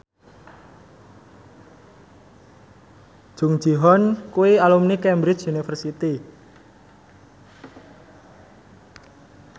Jung Ji Hoon kuwi alumni Cambridge University